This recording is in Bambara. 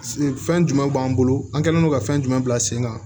Fɛn jumɛnw b'an bolo an kɛlen don ka fɛn jumɛn bila sen kan